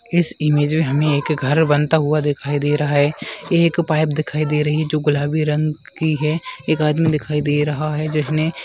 इस इमेज में हमें एक घर बनता हुआ दिखाई दे रहा है एक पाइप दिखाई दे रही है जो गुलाबी रंग की है एक आदमी दिखाई दे रहा है जिसने--